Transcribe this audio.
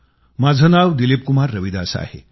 माझं नाव दिलीपकुमार रविदास आहे